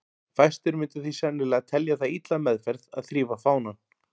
Fæstir myndu því sennilega telja það illa meðferð að þrífa fánann.